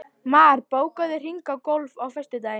Mar, bókaðu hring í golf á föstudaginn.